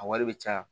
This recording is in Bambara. A wari bɛ caya